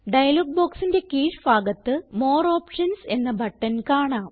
dialogue ബോക്സിന്റെ കീഴ് ഭാഗത്ത് മോർ ഓപ്ഷൻസ് എന്ന ബട്ടൺ കാണാം